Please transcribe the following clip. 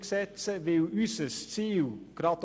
nicht alles muss nach Thun verlegt werden.